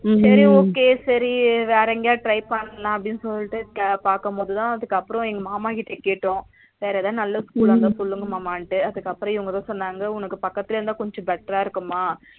சரி okay சரி வேற எங்கயாவது try பண்ணலாம் அப்டினு சொல்லிட்டு பாக்கும்போதுதா அதுகப்புறம் எங்க மாமா கிட்ட கேட்டோம் வேற எதாவது நல்ல school லா இருந்தா சொல்லுங்க மாமான்ட்டு அதுகப்பறம் இவங்கதா சொன்னாங்க உனக்கு பக்கத்துலையே இருந்தா கொஞ்சம் better ரா இருக்குமா